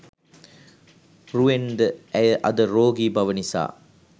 රුවෙන් ද ඇය අද රෝගී බව නිසා